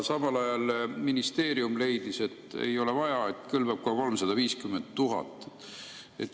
Samal ajal ministeerium leidis, et ei ole vaja, et kõlbab ka 350 000.